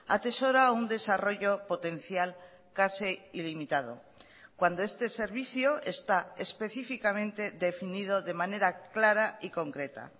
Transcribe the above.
atesora un desarrollo potencial casi ilimitado cuando este servicio está específicamente definido de manera clara y concreta